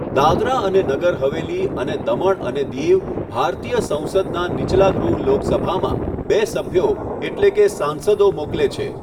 દાદરા અને નગર હવેલી અને દમણ અને દીવ ભારતીય સંસદનાં નીચલા ગૃહ લોકસભામાં બે સભ્યો, એટલે કે સાંસદો, મોકલે છે.